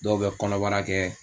Dɔw bɛ kɔnɔbara kɛ